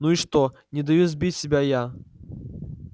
ну и что не даю сбить себя я